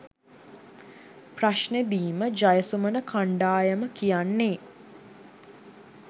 ප්‍රශ්නෙදිම ජයසුමන කණ්ඩායම කියන්නේ?